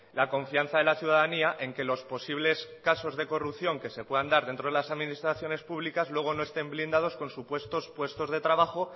la confianza de la ciudadanía en que los posibles casos de corrupción que se puedan dar dentro de las administraciones públicas luego no estén blindados con supuestos puestos de trabajo